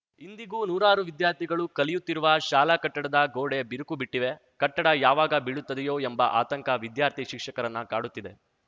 ಇಂದಿಗೂ ನೂರಾರು ವಿದ್ಯಾರ್ಥಿಗಳು ಕಲಿಯುತ್ತಿರುವ ಶಾಲಾ ಕಟ್ಟಡದ ಗೋಡೆ ಬಿರುಕುಬಿಟ್ಟಿವೆ ಕಟ್ಟಡ ಯಾವಾಗ ಬೀಳುತ್ತದೆಯೊ ಎಂಬ ಆತಂಕ ವಿದ್ಯಾರ್ಥಿ ಶಿಕ್ಷಕರನ್ನ ಕಾಡುತ್ತಿದೆ